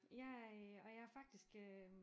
Jeg øh og jeg er faktisk øh